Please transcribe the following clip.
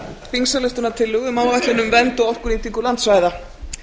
þingsályktunartillögu um áætlun um vernd og orkunýtingu landsvæða